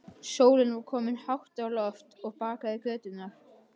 Sólin var komin hátt á loft og bakaði göturnar.